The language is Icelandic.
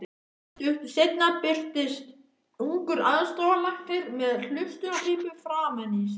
Stuttu seinna birtist ungur aðstoðarlæknir með hlustunarpípu framan á sér.